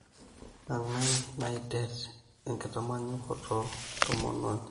Kengae naiter enkitanyaanyukoto tomononi